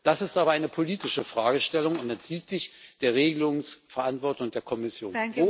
Das ist aber eine politische Fragestellung und entzieht sich der Regelungsverantwortung der Kommission.